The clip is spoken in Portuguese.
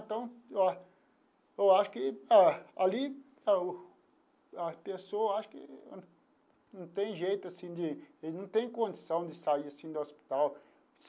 Então eu acho que ali as pessoas acho que não tem jeito assim de, eles não tem condição de sair assim do hospital.